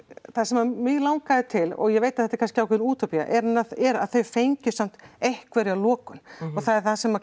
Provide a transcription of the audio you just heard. það sem að mig langaði til og ég veit að þetta er kannski ákveðin útópía er að þau fengju samt einhverja lokun og það er það sem